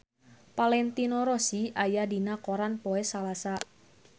Valentino Rossi aya dina koran poe Salasa